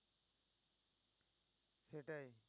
সেটাই